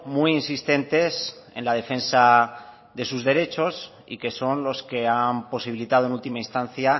muy insistentes en la defensa de sus derechos y que son los que han posibilitado en última instancia